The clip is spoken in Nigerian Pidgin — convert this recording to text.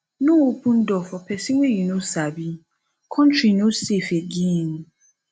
no open door for pesin wey you no sabi country no safe again